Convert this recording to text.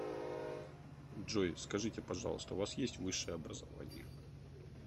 джой скажите пожалуйста у вас есть высшее образование